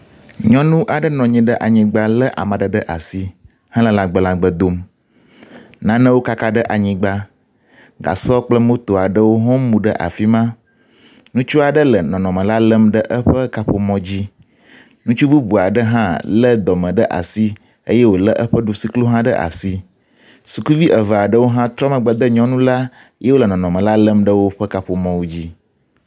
Nyɔnu aɖe nɔ anyigba lé ame aɖe ɖe asi hele lagblagbe dom. Nanewo kaka ɖe anyigba. Gasɔ kple moto aɖewo hã mu ɖe afi ma. Ŋutsu aɖe le nɔnɔme la lém ɖe eƒe kaƒomɔ dzi. Ŋutsu bubu aɖe hã lé dɔme ɖe asi eye wòlé eƒe ɖusiklo hã ɖe asi. Sukuvi eve aɖewo hã trɔ megbe de nyɔnu la ye wole nɔnɔme la lém ɖe woƒe kaƒomɔwo dzi.